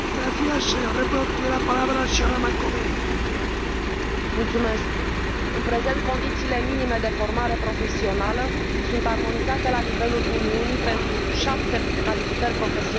În prezent, condițiile minime de formare profesională sunt armonizate la nivelul Uniunii pentru șapte calificări profesionale numai profesia de arhitect și șase profesii în domeniul medical.